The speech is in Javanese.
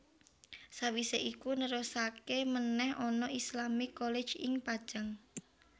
Sawisé iku nerusaké menèh ana Islamic College ing Pajang